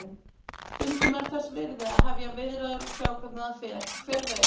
Stundum er þess virði að hefja viðræður og sjá hvernig það fer, hver veit?